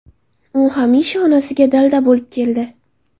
U hamisha onasiga dalda bo‘lib keldi.